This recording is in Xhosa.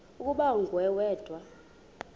ukuba nguwe wedwa